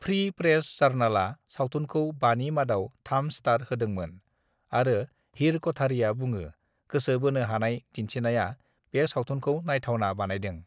"""free press जार्नालआ सावथुनखौ बानि मादाव थाम स्टार होदोंमोन आरो हीर क'ठारीया बुङो, "गोसो बोनो हानाय दिन्थिनाया बे सावथुनखौ नायथावना बानायदों"